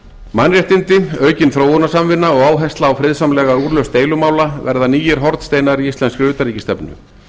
mannréttindi aukin þróunarsamvinna og áhersla á friðsamlega úrlausn deilumála verða nýir hornsteinar í íslenskri utanríkisstefnu